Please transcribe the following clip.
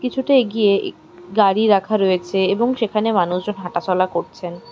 কিছুটা এগিয়ে ইক গাড়ি রাখা রয়েছে এবং সেখানে মানুষজন হাঁটাচলা করছেন।